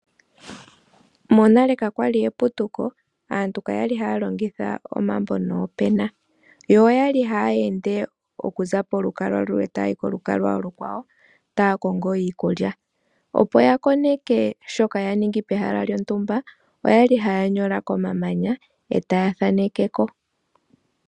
Monale kakwali eputuko aantu kakwali haya longitha omambo noopena, yo oyali haya ende okuza polukalwa numwe tayayi kolukalwa olukwawo taya kongo iikulya ,opo ya koneke shoka ya ningi pehala lyontumba oyali haya nyola komamanya etaya thanekeko.